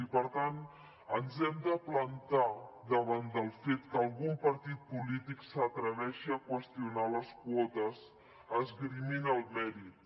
i per tant ens hem de plantar davant del fet que algun partit polític s’atreveixi a qüestionar les quotes esgrimint el mèrit